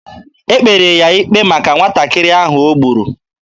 E kpere ya ikpe maka nwatakịrị ahụ o gburu.